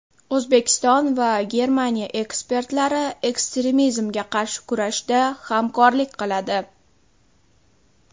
O‘zbekiston va Germaniya ekspertlari ekstremizmga qarshi kurashda hamkorlik qiladi.